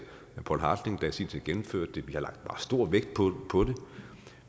poul hartling der i sin tid gennemførte det vi har lagt stor vægt på det